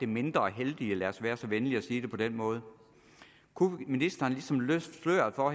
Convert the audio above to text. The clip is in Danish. mindre heldige lad os være så venlige at sige det på den måde kunne ministeren ligesom løfte sløret for